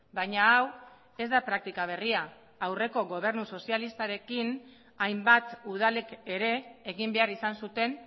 baina hau ez da praktika berria aurreko gobernu sozialistarekin hainbat udalek ere egin behar izan zuten